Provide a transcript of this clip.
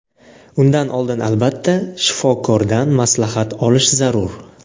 Undan oldin albatta shifokordan maslahat olish zarur!